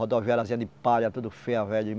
Rodoviariazinha de palha, tudo feia.